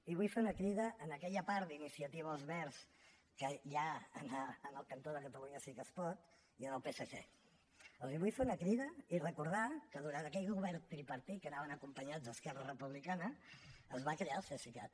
i vull fer una crida a aquella part d’iniciativa verds que hi ha en el cantó de catalunya sí que es pot i al psc els vull fer una crida i recordar que durant aquell govern tripartit que anaven acompanyats d’esquerra republicana es va crear el cesicat